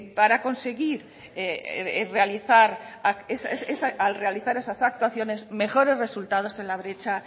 al realizar esas actuaciones mejores resultados